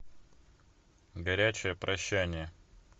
горячее прощание